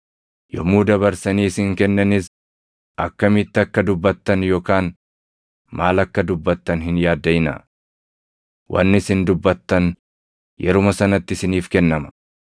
Yommuu dabarsanii isin kennanis akkamitti akka dubbattan yookaan maal akka dubbattan hin yaaddaʼinaa. Wanni isin dubbattan yeruma sanatti isiniif kennama;